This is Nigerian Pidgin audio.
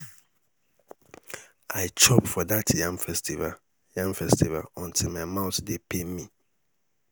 i chop for dat yam festival yam festival until my mouth dey pain me.